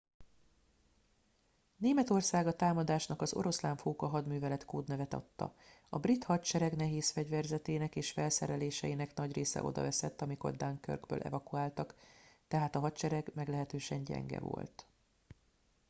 németország a támadásnak az oroszlánfóka hadművelet kódnevet adta a brit hadsereg nehézfegyverzetének és felszereléseinek nagy része odaveszett amikor dunkirkből evakuáltak tehát a hadsereg meglehetősen gyenge volt